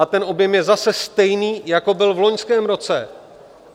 A ten objem je zase stejný, jako byl v loňském roce.